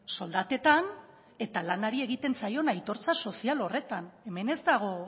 soldatetan eta lanari egiten zaion aitortza sozial horretan hemen ez dago